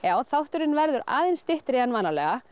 þátturinn verður aðeins styttri en vanalega